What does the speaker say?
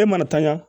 E mana tanɲaya